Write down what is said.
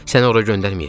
Səni ora göndərməyəcəm.